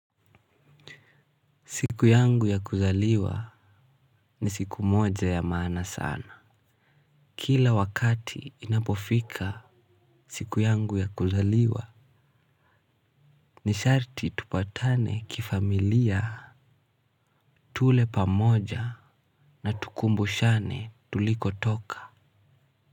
Siku yangu ya kuzaliwa ni siku moja ya maana sana. Kila wakati inapofika siku yangu ya kuzaliwa ni sharti tupatane kifamilia tule pamoja na tukumbushane tuliko toka.